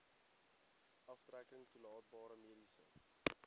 aftrekking toelaatbare mediese